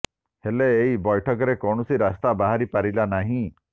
ହେଲେ ଏହି ବୈଠକରେ କୌଣସି ରାସ୍ତା ବାହାରି ପାରିଲା ନାହିଁ